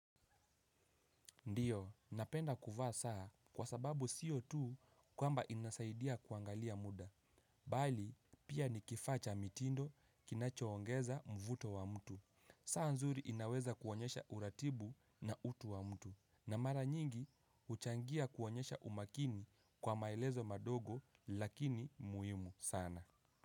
Ndiyo, napenda kuvaa saa kwa sababu sio tu kwamba inasaidia kuangalia muda. Bali, pia ni kifaa cha mitindo kinachoongeza mvuto wa mtu. Saa nzuri inaweza kuonyesha uratibu na utu wa mtu. Na mara nyingi, huchangia kuonyesha umakini kwa maelezo madogo lakini muhimu sana.